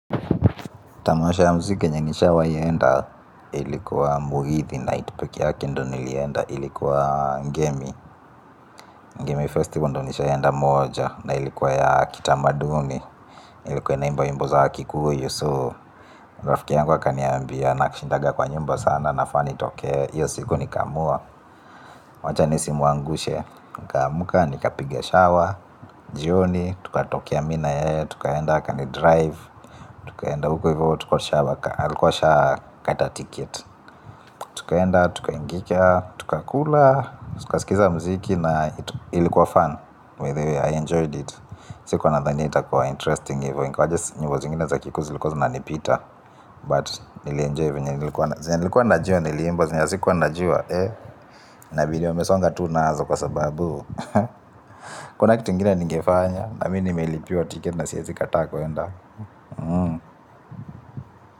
Tamasha ya mziki yenye nishawai enda ilikuwa muhithi night pekee yake ndo nilienda ilikuwa ngemi Ngemi festival ndo nishaenda moja na ilikuwa ya kitamaduni ilikuwa na imba wimbo za kikuyu so. Rafiki yangu wakaniambia nakishindaga kwa nyumba sana nafaa nitoke iyo siiku nikamua. Wacha nisi muangushe nikamka nikapige shawa jioni tukatokea mimi na yeye tukaenda kanidrive. Tukaenda huko hivyo alikuwaasha kata ticket. Tukaenda, tukaingia, tukakula. Tukasikiza muziki na ilikuwa fun by the way I enjoyed it. Sikuwa nadhani itakuwa interesting. Hivo ingawaje sikuwa zingine za kikuyu zilikuwa zinanipita But nilienjoy zenye nilikuwa najua niliimba zenye sikuwa najua. Na video wamesonga tunazo kwa sababu kuna kitu ingina nigefanya. Na mi nimeilipiwa ticket na siezi kataa kwenda.